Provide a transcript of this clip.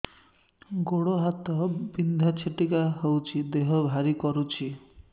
ଗୁଡ଼ ହାତ ବିନ୍ଧା ଛିଟିକା ହଉଚି ଦେହ ଭାରି କରୁଚି